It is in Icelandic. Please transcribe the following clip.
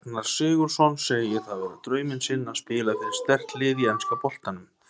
Ragnar Sigurðsson segir það vera drauminn sinn að spila fyrir sterkt lið í enska boltanum.